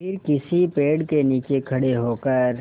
फिर किसी पेड़ के नीचे खड़े होकर